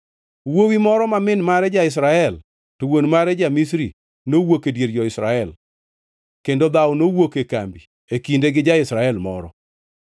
Wuowi moro ma min mare ja-Israel to wuon mare ja-Misri nowuok e dier jo-Israel kendo dhawo nowuok e kambi e kinde gi ja-Israel moro.